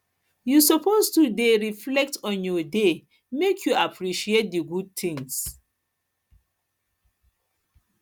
you suppose dey suppose dey reflect on your day make you appreciate di good things